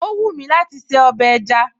Ó wúmi láti se ọbẹ̀ ẹja